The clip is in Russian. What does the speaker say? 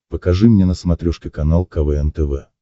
покажи мне на смотрешке канал квн тв